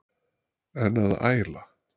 En að æla?